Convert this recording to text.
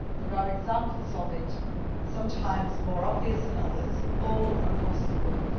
There are examples of it, sometimes more obvious than others, all across the world.